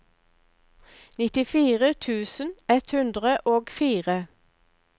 nittifire tusen ett hundre og fire